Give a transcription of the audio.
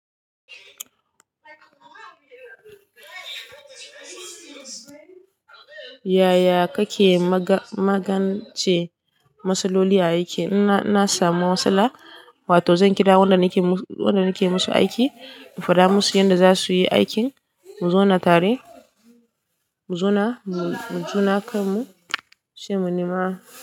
Yaya kake magance matsaloli a aiki? In na in na samu matsala, wato zan kira waɗanda nake musu wanda nake musu aiki in faɗa musu yadda za su yi aikin mu zauna tare, mu zauna, mu juna kanmu sai mu nima.